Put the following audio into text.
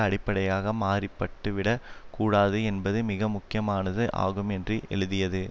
அடிப்படையாக மாற்றிப்பட்டுவிடக் கூடாது என்பது மிக முக்கியமானது ஆகும் என்று எழுதியது